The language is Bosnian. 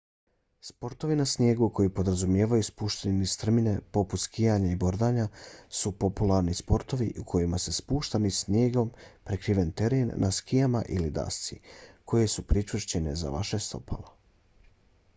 sportovi na snijegu koji podrazumijevaju spuštanje niz strmine poput skijanja i bordanja su popularni sportovi u kojima se spušta niz snijegom prekriven teren na skijama ili dasci koje su pričvršćene za vaša stopala